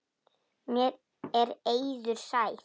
Mér er eiður sær.